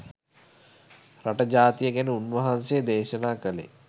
රට ජාතිය ගැන උන්වහන්සේ දේශනා කලේ